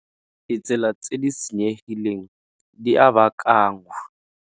Ditsela tse di senyegileng di a baakanngwa.